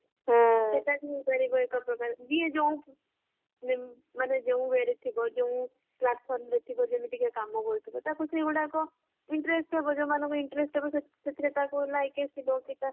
ସେଟା ବି ହେଇପାରିବା ଏକ ପ୍ରକାର ଯିଏ ଯୋଊ platformରେ ଥିବ ଯେମିତିକ କାମ କରୁଥିବା ତାକୁ ସେଇଗୁରକ interest ହେବ ଯୋଊମାନଙ୍କୁ ଯୋଊ ମାନଙ୍କୁ interest ହେବ ସେଥ୍ଗିରେ ତାଜୁ like ଆସିବ କି ତା